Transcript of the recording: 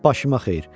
Başıma xeyir.